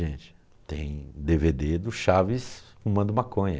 Gente, tem dê vê dê do Chaves fumando Maconha.